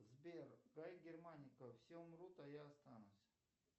сбер гай германика все умрут а я останусь